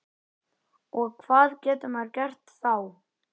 Og hvað getur maður gert þá?